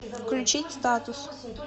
включить статус